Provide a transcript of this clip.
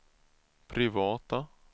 privata